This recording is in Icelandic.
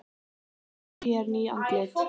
Svo eru hér ný andlit.